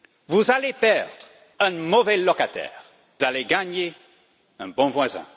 Vous allez perdre un mauvais locataire, et gagner un bon voisin.